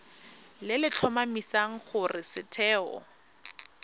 le le tlhomamisang gore setheo